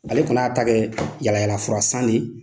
Ale kɔni y'a ta kɛ yalayalafurasan de ye.